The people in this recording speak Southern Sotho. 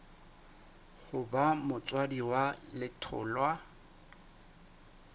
ho ba motswadi wa letholwa